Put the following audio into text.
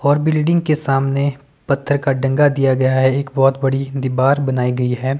और बिल्डिंग के सामने पत्थर का डंगा दिया गया है एक बहोत बड़ी दीबार बनाई गई है।